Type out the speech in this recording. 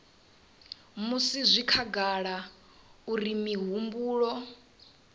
musi zwi khagala uri mihumbulo